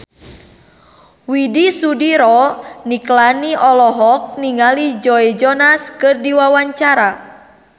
Widy Soediro Nichlany olohok ningali Joe Jonas keur diwawancara